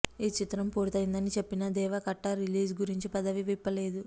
ఈ చిత్రం పూర్తయిందని చెప్పిన దేవా కట్టా రిలీజ్ గురించి పెదవి విప్పలేదు